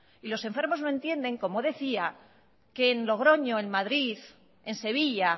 y los enfermos no entienden como decía que en logroño en madrid en sevilla